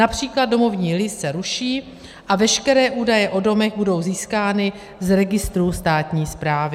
Například domovní list se ruší a veškeré údaje o domech budou získány z registru státní správy.